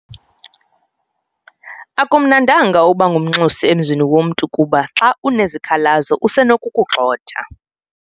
Akumnandanga ukuba ngumnxusi emzini womntu kuba xa unezikhalazo usenokukugxotha.